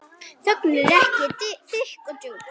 Þögnin er þykk og djúp.